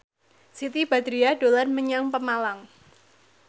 Siti Badriah dolan menyang Pemalang